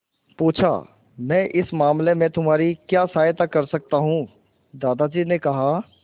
पूछा मैं इस मामले में तुम्हारी क्या सहायता कर सकता हूँ दादाजी ने कहा